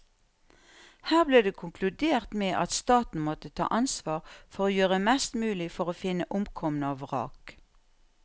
Her ble det konkludert med at staten måtte ta ansvar for å gjøre mest mulig for å finne omkomne og vrak.